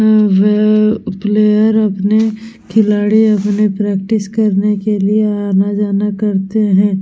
वहां पे प्लेयर अपने खिलाड़ी अपने प्रेक्टिस करने के लिए आना जाना करते है।